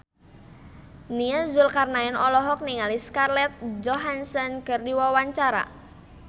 Nia Zulkarnaen olohok ningali Scarlett Johansson keur diwawancara